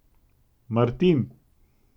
Martin!